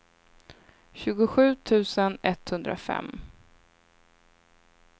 tjugosju tusen etthundrafem